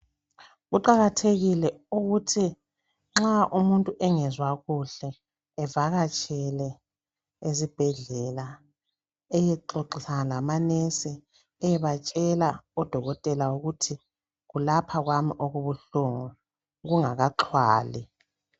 Kuqakathekile ukuthi nxa umuntu engezwa kuhle evakatshele ezibhedlela eyexoxa lamanesi eyebatshela odokotela ukuthi kulapha kwami okubuhlungu kungakaxhwali.